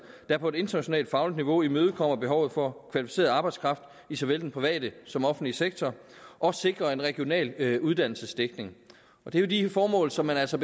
der på et internationalt fagligt niveau imødekommer behovet for kvalificeret arbejdskraft i såvel den private som den offentlige sektor og at sikre en regional uddannelsesdækning det er jo de formål som man altså